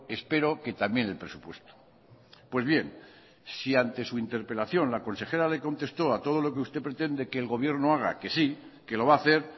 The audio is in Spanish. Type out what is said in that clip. espero que también el presupuesto pues bien si ante su interpelación la consejera le contestó a todo lo que usted pretende que el gobierno haga que sí que lo va a hacer